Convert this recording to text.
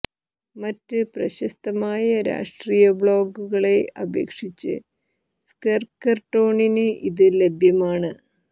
മറ്റ് പ്രശസ്തമായ രാഷ്ട്രീയ ബ്ലോഗുകളെ അപേക്ഷിച്ച് സ്കെർക്കർ ടോണിന് ഇത് ലഭ്യമാണ്